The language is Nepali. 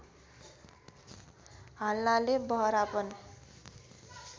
हाल्नाले बहरापन